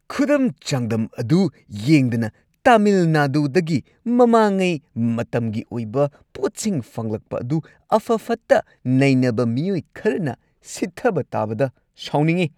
ꯈꯨꯗꯝ-ꯆꯥꯡꯗꯝ ꯑꯗꯨ ꯌꯦꯡꯗꯅ ꯇꯥꯃꯤꯜ ꯅꯥꯗꯨꯗꯒꯤ ꯃꯃꯥꯡꯉꯩ ꯃꯇꯝꯒꯤ ꯑꯣꯏꯕ ꯄꯣꯠꯁꯤꯡ ꯐꯪꯂꯛꯄ ꯑꯗꯨ ꯑꯐ-ꯐꯠꯇ ꯅꯩꯅꯕ ꯃꯤꯑꯣꯏ ꯈꯔꯅ ꯁꯤꯊꯕ ꯇꯥꯕꯗ ꯁꯥꯎꯅꯤꯡꯉꯤ ꯫